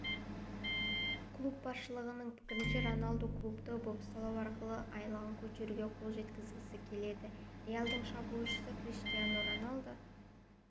клуб басшылығының пікірінше роналду клубты бопсалау арқылы айлығын көтеруге қол жеткізгісі келеді реалдың шабуылшысы криштиану роналду